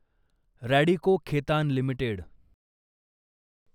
Radico Khetan limited